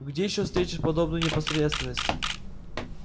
где ещё встретишь подобную непосредственность